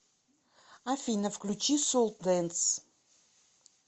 афина включи соултэнс